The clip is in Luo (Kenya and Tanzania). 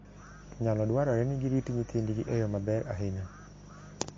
Nyalo dwarore ni girit nyithindgi e yo maber ahinya.